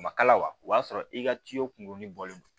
A ma kala wa o y'a sɔrɔ i ka kunkuruni bɔlen don